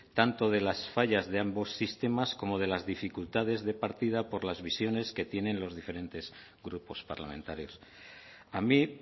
tanto de las fallas de ambos sistemas como de las dificultades de partida por las visiones que tienen los diferentes grupos parlamentarios a mí